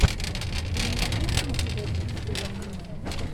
ты мне найдешь киношедевры в стиле аниме